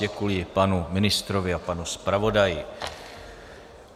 Děkuji panu ministrovi a panu zpravodaji.